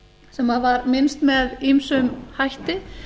sem var minnst með ýmsum hætti